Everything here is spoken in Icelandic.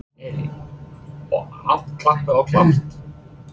Elín: Og allt klappað og klárt?